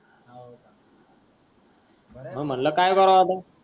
बर आहे. , मग म्हटल की कारव आता.